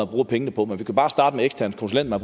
bruger penge på men vi kunne bare starte med eksterne konsulenter